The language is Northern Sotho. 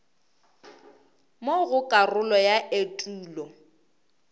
mo go karolo ya etulo